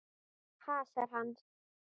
Hasar, segir hann.